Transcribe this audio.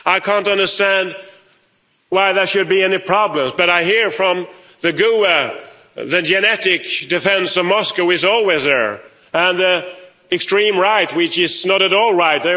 I can't understand why there should be any problems but I hear from the GUE Group, the genetic defence of Moscow is always there, and the extreme right, which is not at all right.